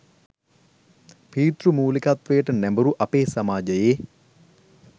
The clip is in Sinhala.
පීතෘමූලිකත්වයට නැඹුරු අපේ සමාජයේ